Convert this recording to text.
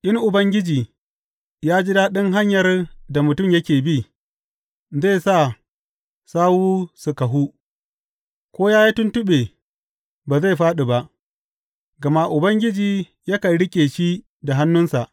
In Ubangiji ya ji daɗin hanyar da mutum yake bi, zai sa sawu su kahu; ko ya yi tuntuɓe, ba zai fāɗi ba, gama Ubangiji yakan riƙe shi da hannunsa.